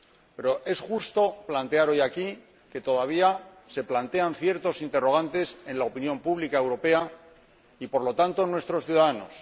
Pero es justo señalar hoy aquí que todavía se plantean ciertos interrogantes en la opinión pública europea y, por lo tanto, en nuestros ciudadanos.